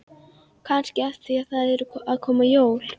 Kannski af því að það eru að koma jól.